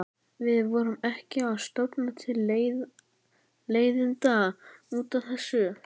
Við förum ekki að stofna til leiðinda út af þessu.